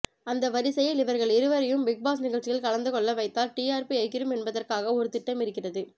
அந்த வரிசையில் இவர்கள் இருவரையும் பிக்பாஸ் நிகழ்ச்சியில் கலந்துக்கொள்ள வைத்தால் டிஆர்பி எகிறும் என்பதற்காக ஒரு திட்டம் இருக்கிறது